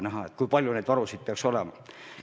Keegi ei teadnud, kui palju neid varusid peaks olema.